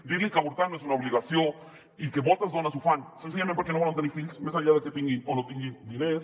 dir li que avortar no és una obligació i que moltes dones ho fan senzillament perquè no volen tenir fills més enllà de que tinguin o no tinguin diners